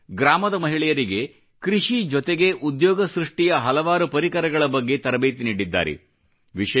ಅವರು ಗ್ರಾಮದ ಮಹಿಳೆಯರಿಗೆ ಕೃಷಿ ಜೊತೆಗೆ ಉದ್ಯೋಗ ಸೃಷ್ಟಿಯ ಹಲವಾರು ಪರಿಕರಗಳ ಬಗ್ಗೆ ತರಬೇತಿ ನೀಡಿದ್ದಾರೆ